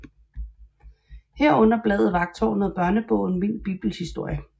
Herunder bladet Vagttårnet og børnebogen Min Bibelhistoriebog